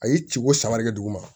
A ye ciko sama de duguma